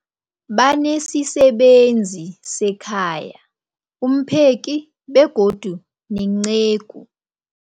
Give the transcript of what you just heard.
Banesisebenzi sekhaya, umpheki, begodu nenceku.